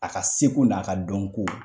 A ka seko n'a ka dɔn ko